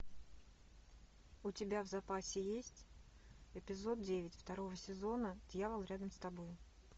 у тебя в запасе есть эпизод девять второго сезона дьявол рядом с тобой